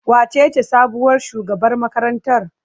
Wacece sabuwar shugabar makarantar?